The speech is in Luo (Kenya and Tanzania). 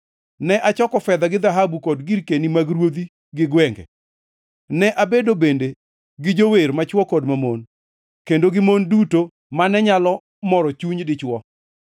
Ne achoko fedha gi dhahabu, kod girkeni mag ruodhi gi gwenge. Ne abedo bende gi jower machwo kod mamon, kendo gi mon duto mane nyalo moro chuny dichwo.